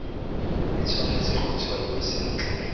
e tshwanetse go tshwaiwa sentle